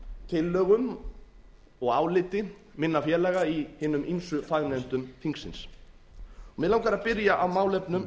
tillögum og áliti minna félaga í hinum ýmsu fagnefndum þingsins mig langar að byrja á málefnum